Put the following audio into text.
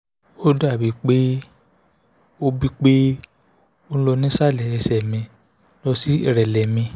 ó dà bíi pé ó bíi pé ó ń lọ nísàlẹ̀ ẹsẹ̀ mi lọ sí ìrẹ̀lẹ̀ mi